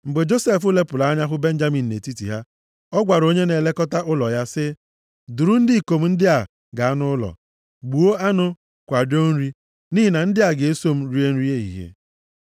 Mgbe Josef lepụrụ anya hụ Benjamin nʼetiti ha, ọ gwara onye na-elekọta ụlọ ya sị, “Duru ndị ikom ndị a gaa nʼụlọ. Gbuo anụ, kwadoo nri, nʼihi na ndị a ga-eso m rie nri ehihie.”